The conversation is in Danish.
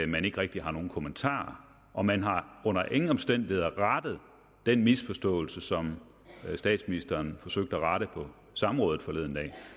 man ikke rigtig har nogen kommentarer og man har under ingen omstændigheder rettet den misforståelse som statsministeren forsøgte at rette på samrådet forleden dag